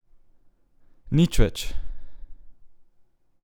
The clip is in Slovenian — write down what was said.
Nič več!